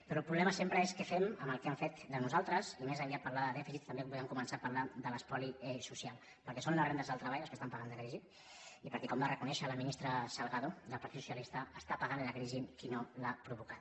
però el problema sempre és què fem amb el que han fet de nosaltres i més enllà de parlar de dèficit també podem començar a parlar de l’espoli social perquè són les rendes del treball les que estan pagant dèficit i perquè com va reconèixer la ministra salgado del partit socialista està pagant la crisi qui no l’ha provocada